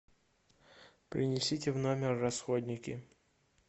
принесите в номер расходники